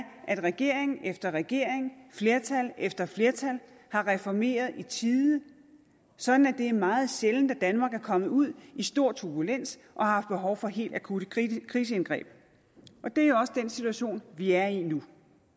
at regering efter regering flertal efter flertal har reformeret i tide sådan at det er meget sjældent at danmark er kommet ud i stor turbulens og har haft behov for helt akutte kriseindgreb og det er også den situation vi er i nu